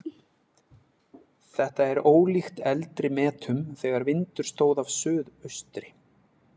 Þetta er ólíkt eldri metum þegar vindur stóð af suðaustri.